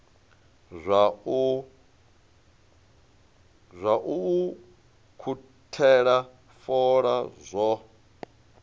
zwa u ukhuthela fola zwo